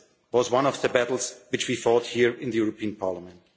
providing. This was one of the battles which we fought here in the European